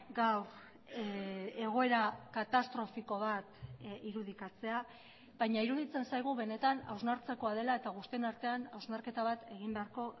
gaur egoera katastrofiko bat irudikatzea baina iruditzen zaigu benetan hausnartzekoa dela eta guztion artean hausnarketa bat egin beharko